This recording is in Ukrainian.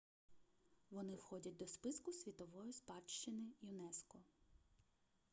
вони входять до списку світової спадщини юнеско